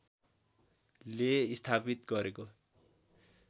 ले स्थापित गरेको